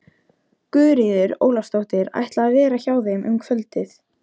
Guðríður Ólafsdóttir ætlaði að vera hjá þeim um kvöldið.